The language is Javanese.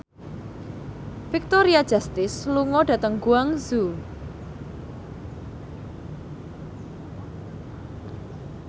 Victoria Justice lunga dhateng Guangzhou